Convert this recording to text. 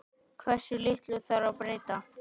Hversu litlu þarf að breyta?